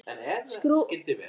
Skrúfar niður rúðuna til hálfs.